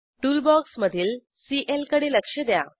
tool बॉक्समधील CL कडे लक्ष द्या